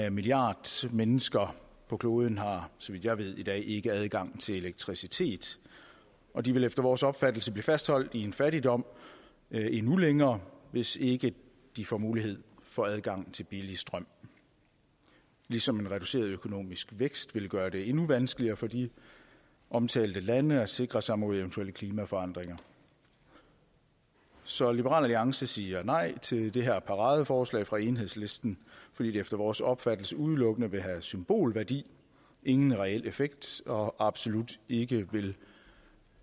en milliard mennesker på kloden har så vidt jeg ved i dag ikke adgang til elektricitet og de vil efter vores opfattelse blive fastholdt i en fattigdom endnu længere hvis ikke de får mulighed for adgang til billig strøm ligesom en reduceret økonomisk vækst vil gøre det endnu vanskeligere for de omtalte lande at sikre sig mod eventuelle klimaforandringer så liberal alliance siger nej til det her paradeforslag fra enhedslisten fordi det efter vores opfattelse udelukkende vil have symbolværdi og ingen reel effekt og absolut ikke vil